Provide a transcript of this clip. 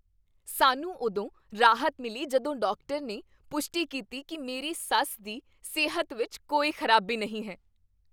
ਸਾਨੂੰ ਉਦੋਂ ਰਾਹਤ ਮਿਲੀ ਜਦੋਂ ਡਾਕਟਰ ਨੇ ਪੁਸ਼ਟੀ ਕੀਤੀ ਕਿ ਮੇਰੀ ਸੱਸ ਦੀ ਸਿਹਤ ਵਿੱਚ ਕੋਈ ਖ਼ਰਾਬੀ ਨਹੀਂ ਹੈ।